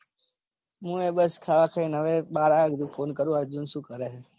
હું એ બસ ખાવા ખાઈને હવે બાર આવ્યો હતો. phone કરું અર્જુન સુ કરે છે.